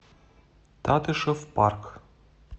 татышев парк